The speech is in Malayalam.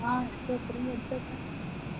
ആ എന്നിട്ട് വര്ത്ത